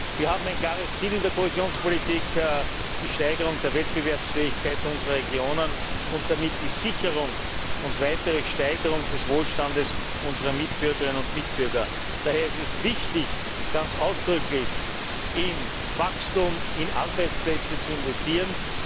Wir haben ein klares Ziel in der Kohäsionspolitik Die Steigerung der Wettbewerbsfähigkeit unserer Regionen und damit die Sicherung und weitere Steigerung des Wohlstands unserer Mitbürgerinnen und Mitbürger. Daher ist es wichtig, ganz ausdrücklich in Wachstum und in Arbeitsplätze zu investieren.